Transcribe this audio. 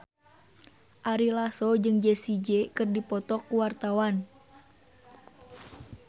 Ari Lasso jeung Jessie J keur dipoto ku wartawan